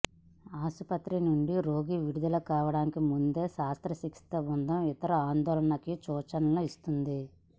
ఆసుపత్రి నుండి రోగి విడుదల కావడానికి ముందే శస్త్రచికిత్స బృందం ఇతర ఆందోళనలకి సూచనలను ఇస్తుంది